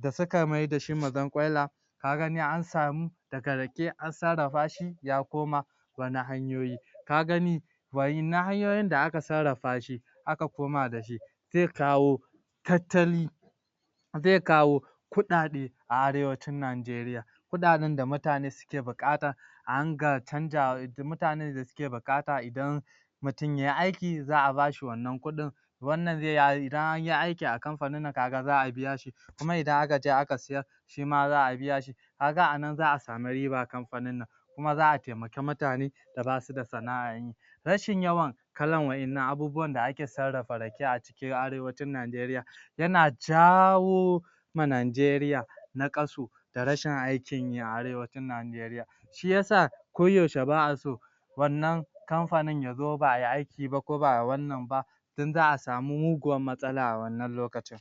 da suka maida shi Mazarkwaila ka ga ni an samu daga Rake an sarrafa shi ya koma wani hanyoyi ka gani wa'yannan hanyoyin da aka sarrafa shi aka koma da shi zai kawo tattali zai kawo kuɗaɗe a arewacin Nigaria kuɗaɗen da mutane suke buƙata a ringa canja mutane mutanen da suke buƙata idan mutum yai aiki za a bashi wannan kuɗin wannan zai yi idan an yi aiki a Kamfanin nan kaga za a biya shi kuma idanaka je aka siyar shi ma za biya shi ka ga a nan za a samu riba a Kamfanin nan kuma za a taimaki mutane da basu da sana'a rashin yawan kalar wa'yannan abubuwan da ake sarrafa Rake a cikin arewacin Nigaria yana jawo ma Nigarian naƙasu da rashin aikin yi a arewacin Nigaria shi ya sa koyaushe ba a so wannan Kamfanin ya zo ba ai aiki ba ko ba ai wannan ba don za a samu muguwar matsala a wannan lokacin